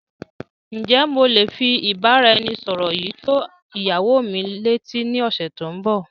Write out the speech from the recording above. Ǹ jẹ́ mo lé fi ìbáraẹnisọọ̀rọ̀ yìí tó ìyàwó mi lé etí ni ọ̀sẹ̀ tòun bọ́.